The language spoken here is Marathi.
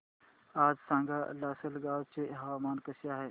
सांगा आज लासलगाव चे हवामान कसे आहे